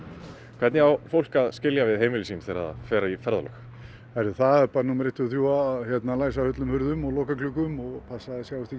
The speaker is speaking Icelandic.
hvernig á fólk að skilja við heimili sín þegar það fer í ferðalög það er bara númer eitt tvö og þrjú að læsa hurðum og loka gluggum og passa að það sjáist ekki